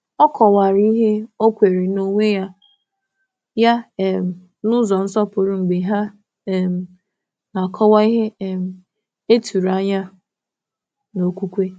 Ọ kọ̀wara ihe ọ kweere n’onwe ya n’ụzọ nsọpụrụ mgbe ha na-akọwa ihe ihe e tụrụ anya n’okwukwe.